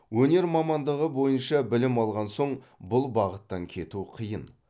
өнер мамандығы бойынша білім алған соң бұл бағыттан кету қиын